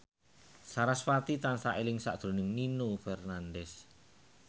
sarasvati tansah eling sakjroning Nino Fernandez